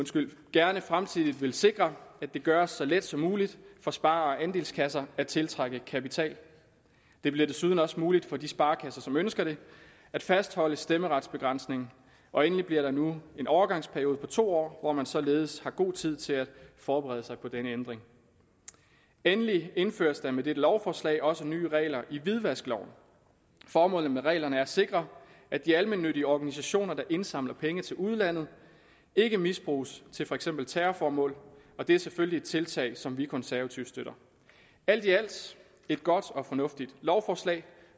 gerne i fremtiden vil sikre at det gøres så let som muligt for spare og andelskasser at tiltrække kapital det bliver desuden også muligt for de sparekasser som ønsker det at fastholde stemmeretsbegrænsningen og endelig bliver der nu en overgangsperiode på to år hvor man således har god tid til at forberede sig på denne ændring endelig indføres der med dette lovforslag også nye regler i hvidvaskloven formålet med reglerne er at sikre at de almennyttige organisationer der indsamler penge til udlandet ikke misbruges til for eksempel terrorformål og det er selvfølgelig et tiltag som vi konservative støtter alt i alt et godt og fornuftigt lovforslag